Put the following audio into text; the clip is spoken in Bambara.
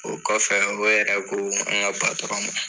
O kɔfɛ, o yɛrɛ ko an ka ma